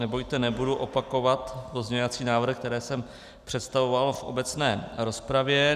Nebojte, nebudu opakovat pozměňovací návrhy, které jsem představoval v obecné rozpravě.